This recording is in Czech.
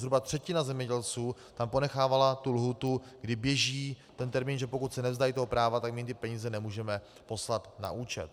Zhruba třetina zemědělců tam ponechávala tu lhůtu, kdy běží ten termín, že pokud se nevzdají toho práva, tak my jim ty peníze nemůžeme poslat na účet.